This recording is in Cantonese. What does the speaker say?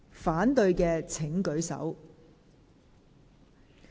反對的請舉手。